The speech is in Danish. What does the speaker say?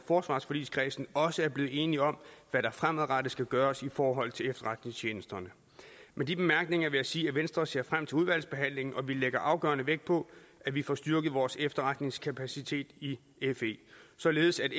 forsvarsforligskredsen også er blevet enige om hvad der fremadrettet skal gøres i forhold til efterretningstjenesterne med de bemærkninger vil jeg sige at venstre ser frem til udvalgsbehandlingen og vi lægger afgørende vægt på at vi får styrket vores efterretningskapacitet i fe således